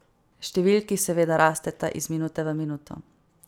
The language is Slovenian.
Številki seveda rasteta iz minute v minuto.